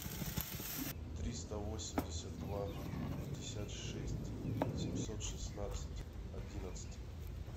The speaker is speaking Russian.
триста восемьдесят два пятьдесят шесть семьсот шестнадцать одиннадцать